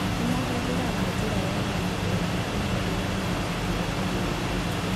Nĩ mahũthagĩra njĩra ya mũndũ ũmwe ũmwe rĩrĩa mararutĩra agũri wĩra.